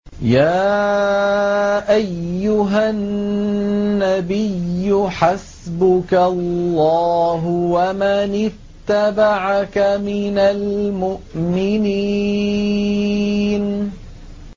يَا أَيُّهَا النَّبِيُّ حَسْبُكَ اللَّهُ وَمَنِ اتَّبَعَكَ مِنَ الْمُؤْمِنِينَ